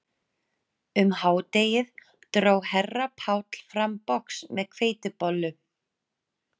Um hádegið dró herra Páll fram box með hveitibollum